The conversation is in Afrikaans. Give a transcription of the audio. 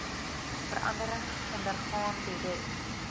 veranderings ondergaan direk